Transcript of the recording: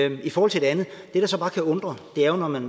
ikke i forhold til det andet det der så bare kan undre er jo når man